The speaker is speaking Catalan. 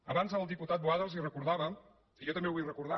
abans el diputat boada els ho recordava i jo també ho vull recordar